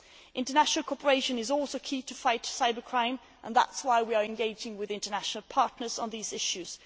International cooperation is also key to fighting cybercrime and that is why we are engaging with international partners on these issues.